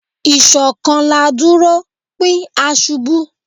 Ishokan la duro, pin a ṣubu